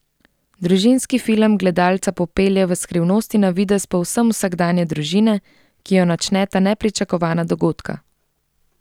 Družinski film gledalca popelje v skrivnosti navidez povsem vsakdanje družine, ki jo načneta nepričakovana dogodka.